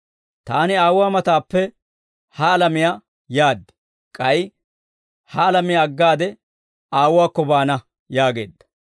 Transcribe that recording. Taani Aawuwaa matappe ha alamiyaa yaad; k'ay ha alamiyaa aggaade Aawuwaakko baana» yaageedda.